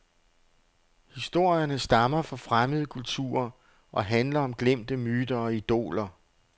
Historierne stammer fra fremmede kulturer og handler om glemte myter og idoler.